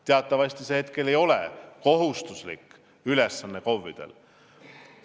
Teatavasti see praegu KOV-ide kohustuslik ülesanne ei ole.